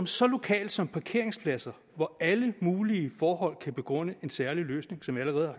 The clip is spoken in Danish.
så lokalt som parkeringspladser hvor alle mulige forhold kan begrunde en særlig løsning som vi allerede